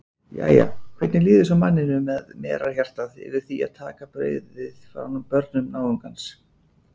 Jæja, hvernig líður svo manninum með merarhjartað yfir því að taka brauðið frá börnum náungans?